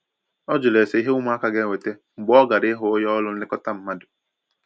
ọ jụrụ ese ìhé ụmụaka ga enweta mgbe ọ gara ịhụ onye ọrụ nlekọta mmadụ